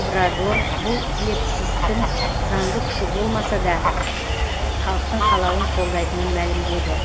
обрадор бұл плебцистің заңды күші болмаса да халықтың қалауын қолдайтынын мәлімдеді